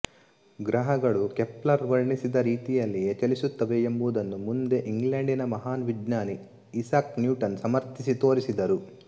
ಗ್ರಹಗಳು ಕೆಪ್ಲರ್ ವರ್ಣಿಸಿದ ರೀತಿಯಲ್ಲಿಯೇ ಚಲಿಸುತ್ತವೆ ಎಂಬುದನ್ನು ಮುಂದೆ ಇಂಗ್ಲೆಂಡಿನ ಮಹಾನ್ ವಿಜ್ಞಾನಿ ಈಸಾಕ್ ನ್ಯೂಟನ್ ಸಮರ್ಥಿಸಿ ತೋರಿಸಿದರು